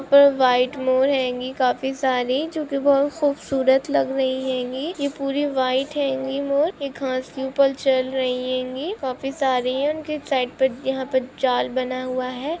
White मोर हैं गिंग काफी सारीजो की बहुत खूबसूरत लग रही हैं यह पूरी वाइट हैं मोरएक घास के ऊपर चल रही हैं वापस आ रही हैं उनकी साइट पर यहां पर जाल बना हुआ हैं।